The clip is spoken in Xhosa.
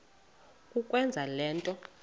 kukwenza le nto